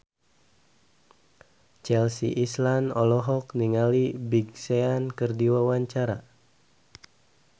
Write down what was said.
Chelsea Islan olohok ningali Big Sean keur diwawancara